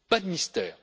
Pas de mystère.